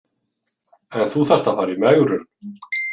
En þú þarft að fara í megrun.